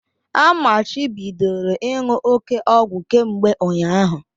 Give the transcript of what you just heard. A machibidoro ịṅụ òké ọgwụ kemgbe ụnyaahụ!